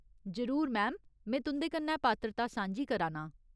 जरूर, मैम ! में तुं'दे कन्नै पात्रता सांझी करा नां।